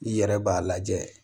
I yɛrɛ b'a lajɛ